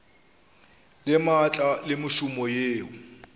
le maatla le mešomo yeo